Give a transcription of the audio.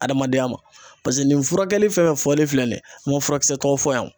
Adamadenya ma. Paseke nin furakɛli fɛn fɛn fɔlen filɛ nin ye, n ma furakisɛw fɔ yan.